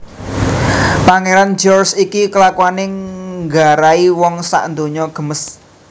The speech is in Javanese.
Pangeran George iki kelakuane nggarai wong sak donya gemes